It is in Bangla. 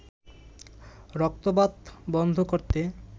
রক্তপাত বন্ধ করতে